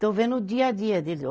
Estou vendo o dia a dia deles. Ó